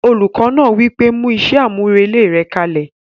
Olùkọ́ náà wí pé "mú iṣẹ́ àmúrelé rẹ kalẹ̀!"